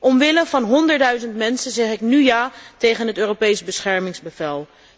Omwille van honderdduizend mensen zeg ik nu ja tegen het Europees beschermingsbevel.